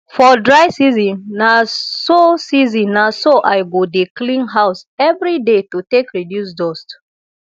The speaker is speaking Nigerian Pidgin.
for dry season na so season na so i go dey clean house evri day to take reduce dust